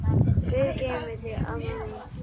Guð geymi þig, amma mín.